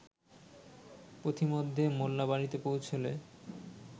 পথিমধ্যে মোল্লা বাড়িতে পৌঁছলে